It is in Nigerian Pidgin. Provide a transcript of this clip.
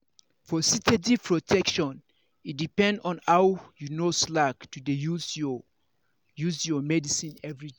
for steady protection e depend on how you no slack to dey use your use your medicine everyday.